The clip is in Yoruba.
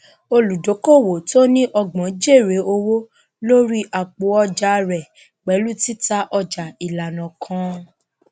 olùdókòòwò tó ní ọgbọn jèrè owó lórí àpòọjà rẹ pẹlú títà ọjà ìlànà kan